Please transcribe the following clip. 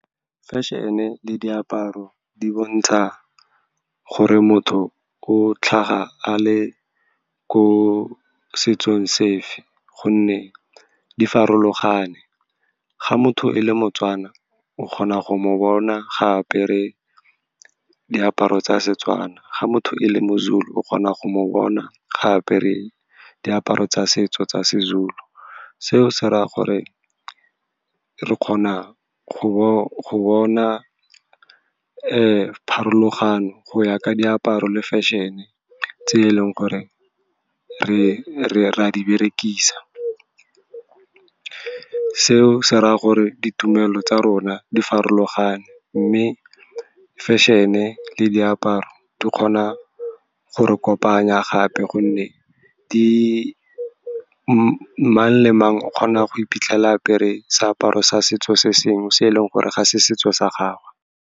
Fashion-e le diaparo di bontsha gore motho o tlhaga a le ko setsong sefe, gonne di farologane. Ga motho e le moTswana, o kgona go mo bona gape re diaparo tsa seTswana. Ga motho e le moZulu, o kgona go mo bona gape re diaparo tsa setso tsa SeZulu. Seo se dira gore re kgone go bona pharologano go ya ka diaparo le fashion-e tse e leng gore ra di berekisa. Seo se raya gore di tumelo tsa rona di farologane, mme fashion-e le diaparo di kgona go re kopanya gape, gonne mang le mang o kgona go iphitlhela a apere seaparo sa setso se sengwe se e leng gore ga se setso sa gagwe.